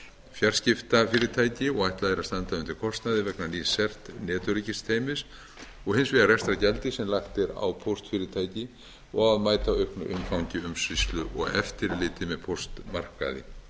fjarskiptafyrirtæki og ætlað er að standa undir kostnaði vegna nýs cert netöryggiskerfis og hins vegar rekstrargjaldi sem lagt er á póstfyrirtæki og að mæta auknu umfangi umsýslu og eftirliti með póstmarkaði ég ætla